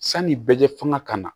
Sani bɛ kɛ fanga ka na